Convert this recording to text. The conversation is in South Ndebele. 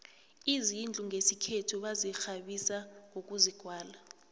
izindlu nqesikhethu bazikqabisa nqokuzigwala